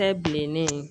Kɛ bilen ne ye